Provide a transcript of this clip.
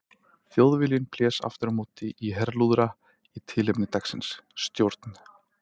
Þjóðviljinn blés aftur á móti í herlúðra í tilefni dagsins: STJÓRN